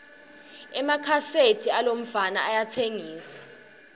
emakhaseti alomfana ayatsengisa